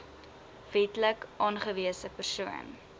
wetlik aangewese persoon